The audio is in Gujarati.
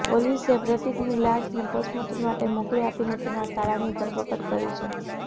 પોલીસે પ્રતીકની લાશને પોસ્ટમોર્ટમ માટે મોકલી આપીને તેના સાળાની ધરપકડ કરી છે